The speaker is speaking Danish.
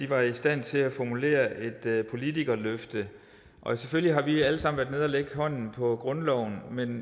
var i stand til at formulere et politikerløfte og selvfølgelig har vi alle sammen været nede at lægge hånden på grundloven men